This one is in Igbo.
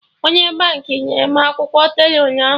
Onye Baankị nyere m akwụkwọ tela ụnyaahụ